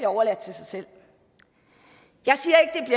overladt til sig selv jeg siger